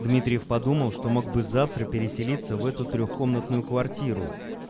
дмитриев подумал что мог бы завтра переселиться в эту трехкомнатную квартиру